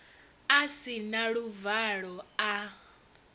a si na luvalo a